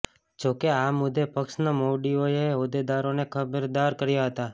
જોકે આ મુદ્દે પક્ષના મોવડીઓએ હોદ્દેદારોને ખબરદાર કર્યા હતા